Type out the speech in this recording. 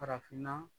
Farafinna